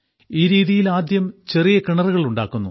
ഈ രീതിയിൽ ആദ്യം ചെറിയ കിണറുകൾ ഉണ്ടാക്കുന്നു